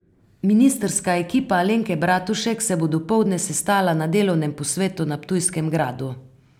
Ministrska ekipa Alenke Bratušek se bo dopoldne sestala na delovnem posvetu na Ptujskem gradu.